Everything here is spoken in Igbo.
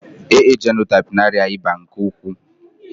AA jenotaịpu na-arịa ịba nke ukwuu